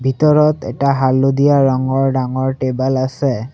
ভিতৰত এটা হালধীয়া ৰঙৰ ডাঙৰ টেবুল আছে।